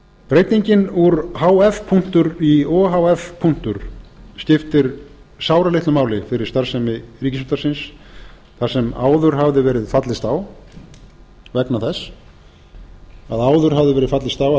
breytingin úr h f í o h f skiptir sáralitlu máli fyrir starfsemi ríkisútvarpsins þar sem áður hafði verið fallist á að